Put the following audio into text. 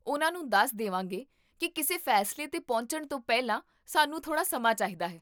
ਉਨ੍ਹਾਂ ਨੂੰ ਦੱਸ ਦੇਵਾਂਗੇ ਕੀ ਕਿਸੇ ਫੈਸਲੇ 'ਤੇ ਪਹੁੰਚਣ ਤੋਂ ਪਹਿਲਾਂ ਸਾਨੂੰ ਥੋੜ੍ਹਾ ਸਮਾਂ ਚਾਹੀਦਾ ਹੈ